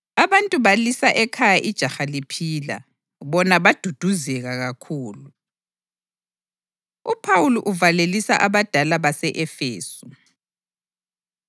Abantu balisa ekhaya ijaha liphila, bona baduduzeka kakhulu. UPhawuli Uvalelisa Abadala Base-Efesu